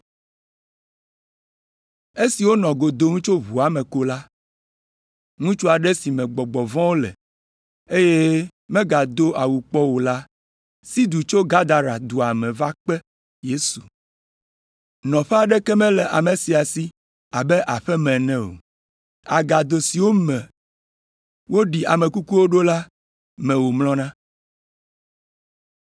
Esi wonɔ go dom tso ʋua me ko la, ŋutsu aɖe si me gbɔgbɔ vɔ̃wo le, eye megado awu kpɔ o la si du tso Gadara dua me va kpe Yesu. Nɔƒe aɖeke mele ame sia si abe aƒe me ene o. Agado siwo me woɖi ame kukuwo ɖo la me wòmlɔna.